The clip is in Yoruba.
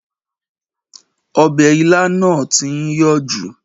Ọbẹ̀ ilá náà tí ń yọ̀ jù